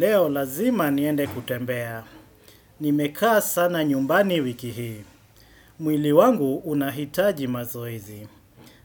Leo lazima niende kutembea. Mhhch Nimekaa sana nyumbani wiki hii. Mmchh mwili wangu unahitaji mazoezi. Mmhh